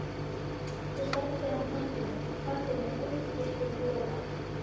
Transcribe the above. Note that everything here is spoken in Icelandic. Svo sleppti hann hnappinum og kvaddi með útréttum lófa.